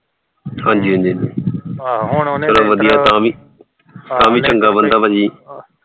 ਹਾਂਜੀ ਤਾਂ ਵੀ ਵਧੀਆ ਬੰਦਾ ਭਾਜੀ